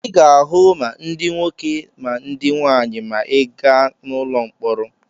Ị ga-ahụ ma ndị nwoke ma ndị nwaanyị maa ị gaa n'ụlọ mkpọrọ.